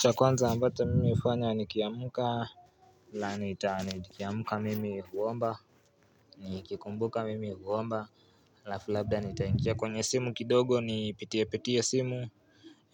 Cha kwanza ambacha mimi hufanya nikiamka nikiamka mimi huomba Nikikumbuka mimi huomba alafu labda nitaingia kwenye simu kidogo nipitie pitie simu